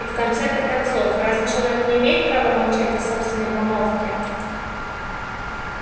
и в конце-то концов разве человек не имеет права молчать о собственной помолвке